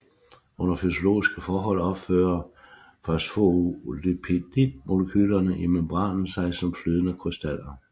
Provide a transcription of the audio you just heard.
Under fysiologiske forhold opfører fosfolipidmolekylerne i membranen sig som flydende krystaller